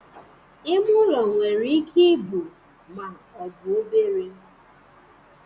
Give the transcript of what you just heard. Ime ụlọ nwere ike ibu ma ọ bụ obere